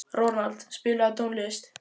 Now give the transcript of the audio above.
Ronald, spilaðu tónlist.